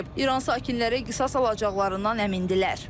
İran sakinləri qisas alacaqlarından əmindirlər.